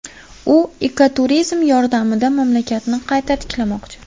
U ekoturizm yordamida mamlakatni qayta tiklamoqchi.